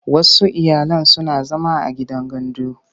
Wasu iyalan suna zama a gidan gandu.